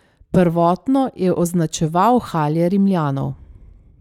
Prvotno je označeval halje Rimljanov.